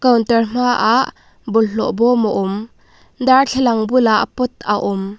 counter hmaah bawlhhlawh bawm a awm darthlalang bulah pot a awm.